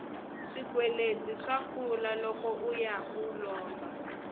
swikweleti swa kula loko uya u lomba